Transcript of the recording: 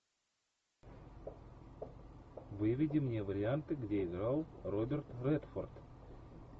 выведи мне варианты где играл роберт редфорд